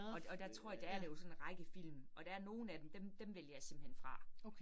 Og og der tror der er det jo sådan en række film, og der nogle af dem, dem dem vælger jeg simpelthen fra